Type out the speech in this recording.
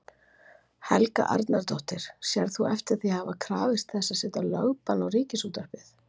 Helga Arnardóttir: Sérð þú eftir því að hafa krafist þess að setja lögbann á Ríkisútvarpið?